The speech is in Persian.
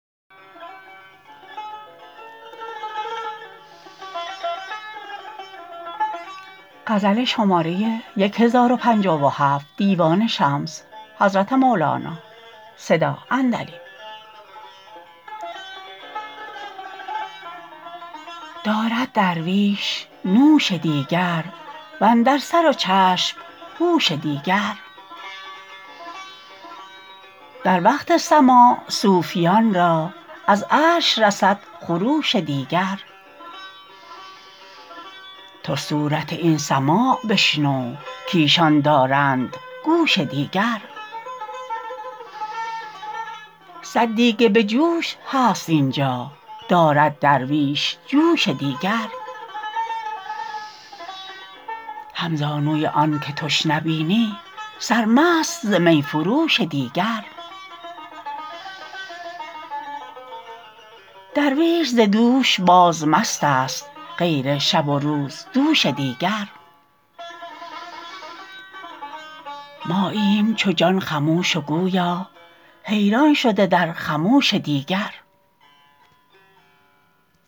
دارد درویش نوش دیگر و اندر سر و چشم هوش دیگر در وقت سماع صوفیان را از عرش رسد خروش دیگر تو صورت این سماع بشنو کایشان دارند گوش دیگر صد دیگ به جوش هست این جا دارد درویش جوش دیگر همزانوی آنک تش نبینی سرمست ز می فروش دیگر درویش ز دوش باز مست است غیر شب و روز دوش دیگر ماییم چو جان خموش و گویا حیران شده در خموش دیگر